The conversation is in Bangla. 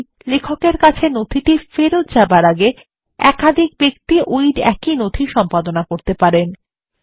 তাই লেখকের কাছে নথি ফেরত যাবার আগে একাধিক ব্যক্তি একই নথি সম্পাদনা করতে পারেন